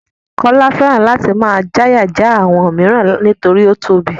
Kọ́lá fẹ́ràn láti máa dáyà já àwọn mìíràn nítorí ó tóbi.